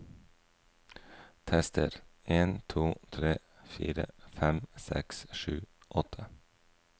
Tester en to tre fire fem seks sju åtte